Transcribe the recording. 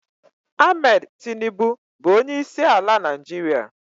Ahmed Tinubu bụ onyeisi ala Nigeria